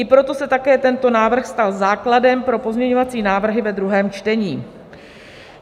I proto se také tento návrh stal základem pro pozměňovací návrh ve druhém čtení.